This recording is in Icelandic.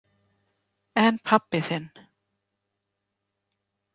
En pabbi þinn?